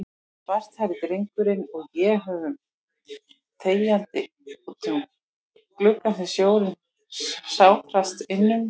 Svarthærði drengurinn og ég horfum þegjandi útum gluggann sem snjórinn sáldrast innum.